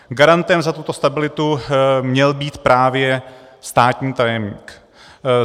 Garantem za tuto stabilitu měl být právě státní tajemník.